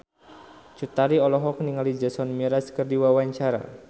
Cut Tari olohok ningali Jason Mraz keur diwawancara